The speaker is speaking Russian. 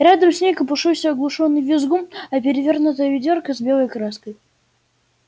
рядом с ней копошился оглушённый визгун а перевёрнутое ведёрко с белой краской